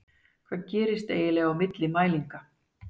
Og hvað gerist eiginlega á milli mælinga?